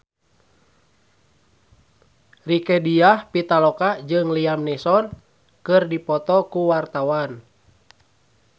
Rieke Diah Pitaloka jeung Liam Neeson keur dipoto ku wartawan